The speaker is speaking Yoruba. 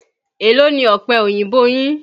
Èló ni ọ̀pẹ oyìnbó yín?